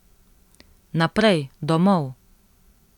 Naprej, domov.